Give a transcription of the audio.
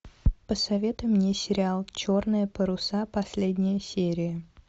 посоветуй мне сериал черные паруса последняя серия